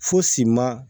Fosi ma